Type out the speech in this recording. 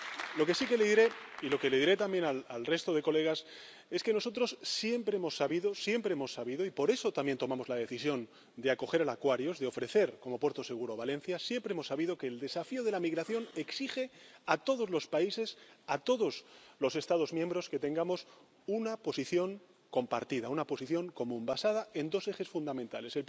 Lo que sí que le diré, y lo que les diré también al resto de diputados, es que nosotros siempre hemos sabido, siempre hemos sabido ―y por eso también tomamos la decisión de acoger al Aquarius de ofrecer como puerto seguro Valencia― que el desafío de la migración exige a todos los países, a todos los Estados miembros, que tengamos una posición compartida, una posición común, basada en dos ejes fundamentales.